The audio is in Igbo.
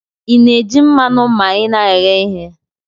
Ina eji mmanu ma ina eghe ihe?